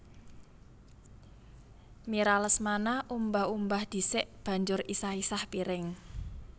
Mira Lesmana umbah umbah dhisik banjur isah isah piring